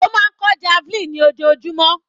Ó máa kọ́ javelin ní ojoojúmọ́.